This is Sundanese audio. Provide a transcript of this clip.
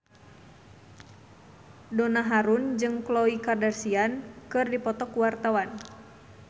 Donna Harun jeung Khloe Kardashian keur dipoto ku wartawan